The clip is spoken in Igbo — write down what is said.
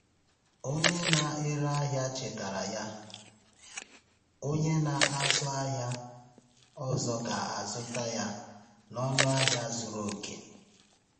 Onye na-ere ahịa chetara ya, “Onye na-azụ ahịa ọzọ ga-azụta ya n’ọnụ ahịa zuru oke.”